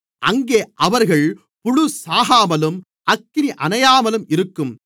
அங்கே அவர்கள் புழு சாகாமலும் அக்கினி அணையாமலும் இருக்கும்